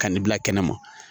Ka ni bila kɛnɛma